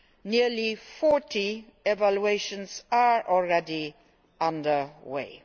Nearly 40 evaluations are already underway.